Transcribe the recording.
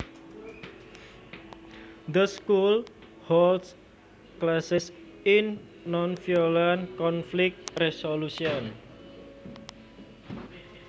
The school holds classes in nonviolent conflict resolution